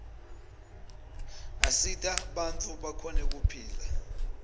asita bantfu bakhone kuphila